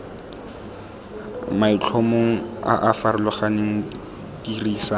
maitlhomong a a farologaneng dirisa